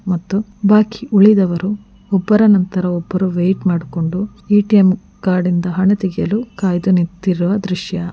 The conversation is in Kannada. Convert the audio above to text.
ಮತ್ತು ಬಾಕಿ ಉಳಿದವರು ಒಬ್ಬರ ನಂತರ ಒಬ್ಬರು ವೈಟ್ ಮಾಡಿಕೊಂಡು ಎ.ಟಿ.ಎಂ. ಕಾರ್ಡಿ ನಿಂದ ಹಣ ತೆಗೆಯಲು ಕಾಯ್ದು ಕಾದು ನಿಂತಿರುವ ದೃಶ್ಯ.